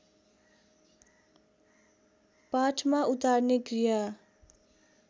पाठमा उतार्ने क्रिया